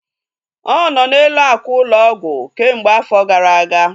Ọ nọ n'elu ákwà ụlọ ọgwụ kemgbe afọ gara aga